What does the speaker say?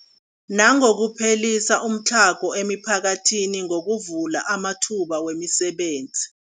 Nangokuphelisa umtlhago emiphakathini ngokuvula amathuba wemisebenzi.